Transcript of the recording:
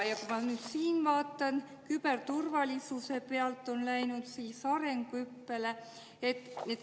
Ma nüüd siin vaatan, et küberturvalisuse pealt on läinud arenguhüppele.